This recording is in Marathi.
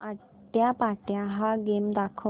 आट्यापाट्या हा गेम दाखव